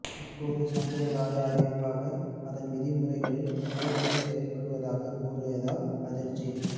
இப்போது சம்பிரதாய அறிவிப்பாக அதன் விதிமுறைகளில் முறைப்படி செய்யப்படுவதாக கூறியதால் அதிர்ச்சி